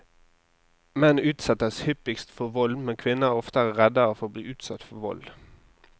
Menn utsettes hyppigst for vold, men kvinner er oftere redd for å bli utsatt for vold.